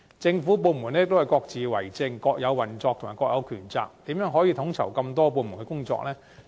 政府部門各自為政、各有運作及各有權責，如何統籌眾多部門工作？